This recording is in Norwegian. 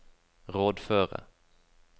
rådføre